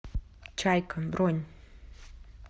чайка бронь